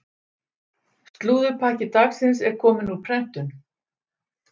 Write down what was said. Slúðurpakki dagsins er kominn úr prentun.